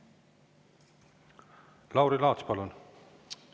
Lauri Laats, palun!